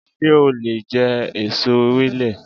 Sé o lè je èso Ewèlè